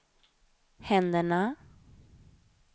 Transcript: händerna